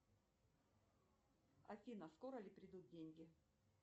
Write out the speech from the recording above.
афина скоро ли придут деньги